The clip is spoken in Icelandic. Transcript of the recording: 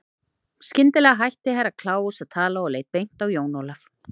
Skyndilega hætti Herra Kláus að tala og leit beint á Jón Ólaf.